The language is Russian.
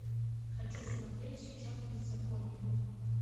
хочу смотреть сейчас беззаконие